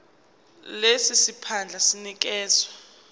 lesi siphandla sinikezwa